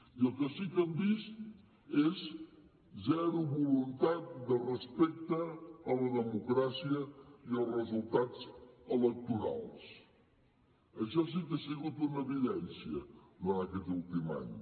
i el que sí que hem vist és zero voluntat de respecte a la democràcia i als resultats electorals això sí que ha sigut una evidència durant aquest últim any